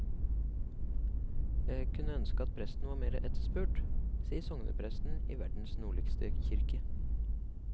Jeg kunne ønske at presten var mer etterspurt, sier sognepresten i verdens nordligste kirke.